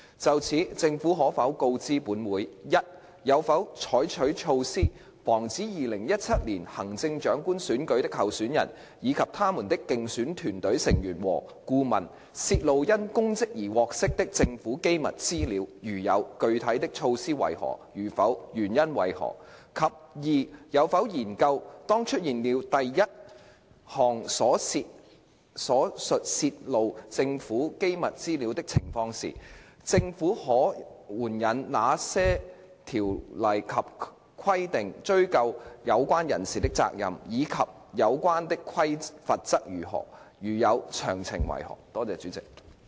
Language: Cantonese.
就此，政府可否告知本會：一有否採取措施，防止2017年行政長官選舉的候選人，以及他們的競選團隊成員和顧問，泄露因公職而獲悉的政府機密資料；如有，具體的措施為何；如否，原因為何；及二有否研究，當出現了第一項所述泄露政府機密資料的情況時，政府可援引哪些條例及規定追究有關人士的責任，以及有關的罰則為何；如有，詳情為何？